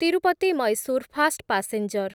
Tirupati Mysore fast passenger